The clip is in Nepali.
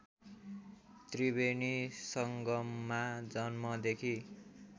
त्रिवेणी संगममा जन्मदेखि